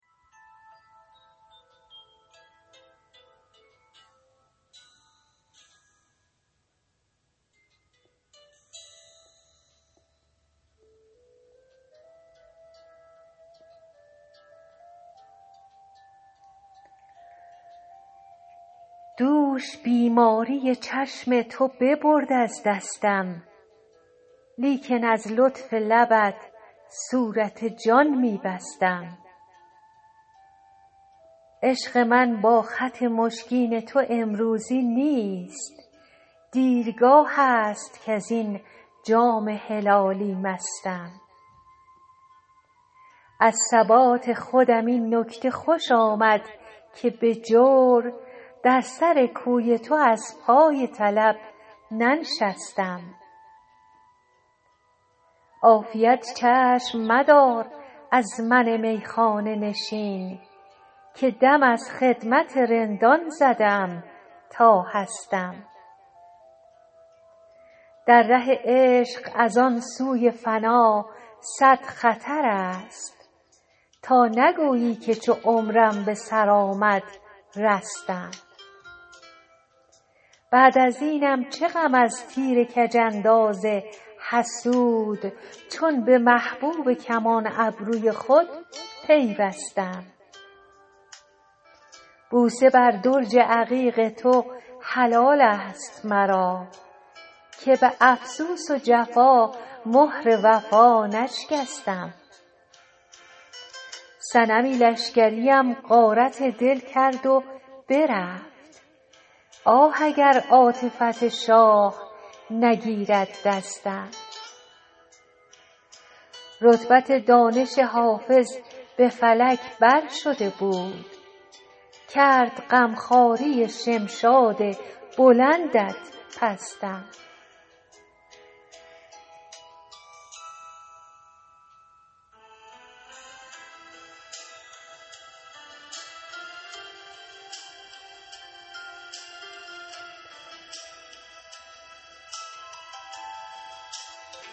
دوش بیماری چشم تو ببرد از دستم لیکن از لطف لبت صورت جان می بستم عشق من با خط مشکین تو امروزی نیست دیرگاه است کز این جام هلالی مستم از ثبات خودم این نکته خوش آمد که به جور در سر کوی تو از پای طلب ننشستم عافیت چشم مدار از من میخانه نشین که دم از خدمت رندان زده ام تا هستم در ره عشق از آن سوی فنا صد خطر است تا نگویی که چو عمرم به سر آمد رستم بعد از اینم چه غم از تیر کج انداز حسود چون به محبوب کمان ابروی خود پیوستم بوسه بر درج عقیق تو حلال است مرا که به افسوس و جفا مهر وفا نشکستم صنمی لشکریم غارت دل کرد و برفت آه اگر عاطفت شاه نگیرد دستم رتبت دانش حافظ به فلک بر شده بود کرد غم خواری شمشاد بلندت پستم